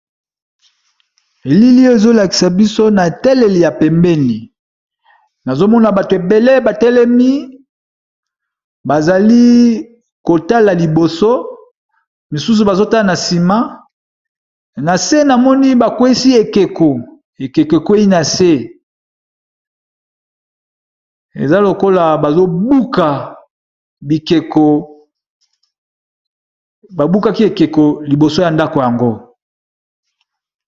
Elili ezolakisa biso na eteleli ya pembeni nazomona bato ebele batelemi bazali kotala liboso mosusu bazotala na nsima na se namoni bakwesi ekeko ekeko ekwei na se eza lokola bbabukaki ekeko liboso ya ndako yango.